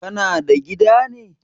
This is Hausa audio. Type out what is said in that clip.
Kana da gida ne?